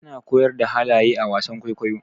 ana koyar da halaye a wasan kwaikwayo